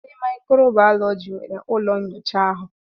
Ndị mikro Baalọji nwere ụlọ nnyocha ahụ.